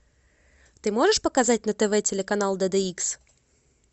ты можешь показать на тв телеканал д д икс